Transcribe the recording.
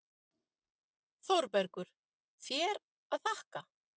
ÞÓRBERGUR: Þér að þakka!